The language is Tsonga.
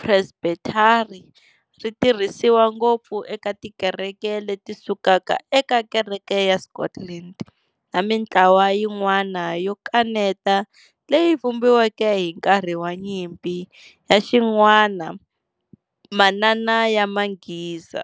Presbethari ri tirhisiwa ngopfu eka tikereke leti sukaka eka kereke ya Scotland, na mintlawa yin'wana yo kaneta leyi vumbiweke hi nkarhi wa nyimpi ya xin'wana manana ya manghiza.